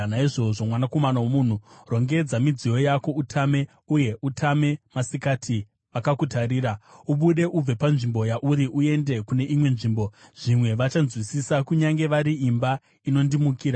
“Naizvozvo, mwanakomana womunhu, rongedza midziyo yako utame uye utame masikati, vakakutarira, ubude ubve panzvimbo yauri uende kune imwe nzvimbo. Zvimwe vachanzwisisa, kunyange vari imba inondimukira.